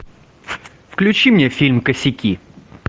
включи мне фильм косяки